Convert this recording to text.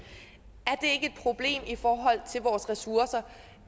problem i forhold til vores ressourcer